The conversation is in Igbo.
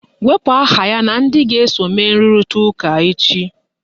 Wepu aha ya na ndị ga-eso mee nrụrịta ụka echi!